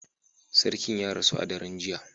Sarkin ya rasu a daren jiya